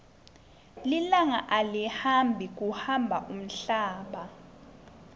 lilanga alihambi kuhamba umhlaba